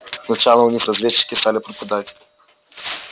сначала у них разведчики стали пропадать